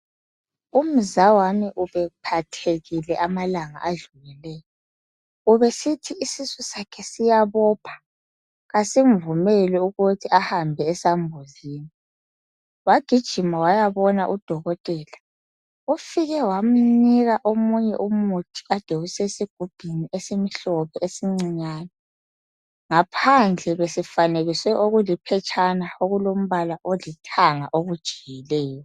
Umzawami ubephathekile amalanga adlulileyo. Ubesithi isisu sakhe siyabopha. Kasimvumeli ukuthi ahambe esambuzini. Wagijima wayabona udokotela. Ufike wamnike omunye umuthi okade usesigujiini esimhlophe, esincane..Ngaphandle besifanekiswe okuliphetshana okulombala olithanga elijiyileyo.